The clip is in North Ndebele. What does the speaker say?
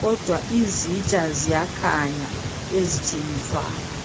kodwa izitsha ziyakhanya ezithengiswayo.